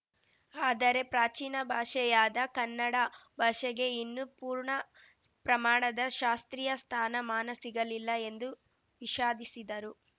ಆದರೆ ಪ್ರಾಚೀನ ಭಾಷೆಯಾದ ಕನ್ನಡ ಭಾಷೆಗೆ ಇನ್ನೂ ಪೂರ್ಣ ಪ್ರಮಾಣದ ಶಾಸ್ತ್ರೀಯ ಸ್ಥಾನ ಮಾನ ಸಿಗಲಿಲ್ಲ ಎಂದು ವಿಷಾದಿಸಿದರು